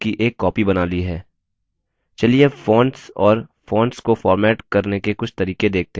चलिए अब फोंट्स और फोंट्स को फॉर्मेट करने के कुछ तरीके देखते हैं